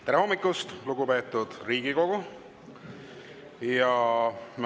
Tere hommikust, lugupeetud Riigikogu!